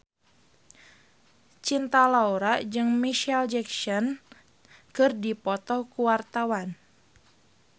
Cinta Laura jeung Micheal Jackson keur dipoto ku wartawan